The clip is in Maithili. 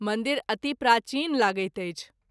मंदिर अति प्राचीन लगैत अछि।